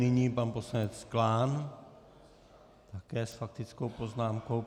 Nyní pan poslanec Klán také s faktickou poznámkou.